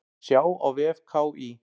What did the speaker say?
Sjá á vef KÍ.